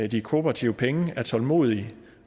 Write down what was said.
de kooperative penge er tålmodige